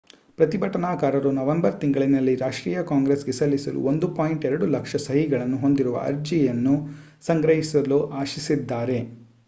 ಪ್ರತಿಭಟನಾಕಾರರು ನವೆಂಬರ್ ತಿಂಗಳಿನಲ್ಲಿ ರಾಷ್ಟ್ರೀಯ ಕಾಂಗ್ರೆಸ್‌ಗೆ ಸಲ್ಲಿಸಲು 1.2 ಲಕ್ಷ ಸಹಿಗಳನ್ನು ಹೊಂದಿರುವ ಅರ್ಜಿಯನ್ನು ಸಂಗ್ರಹಿಸಲು ಆಶಿಸಿದ್ದಾರೆ